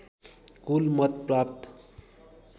कुल मत प्राप्त